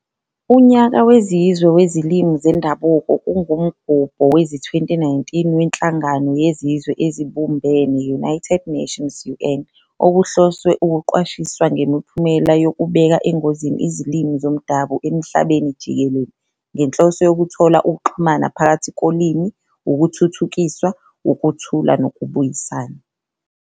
Unyaka Wezizwe weziLimi zeNdabuko kungumgubho wezi-2019 weNhlangano yeZizwe eziBumbene, United Nations UN, okuhloswe ukuqwashisa ngemiphumela yokubeka engozini izilimi zomdabu emhlabeni jikelele, ngenhloso yokuthola ukuxhumana phakathi kolimi, ukuthuthukiswa, ukuthula nokubuyisana.